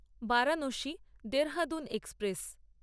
Varanasi Dehradun express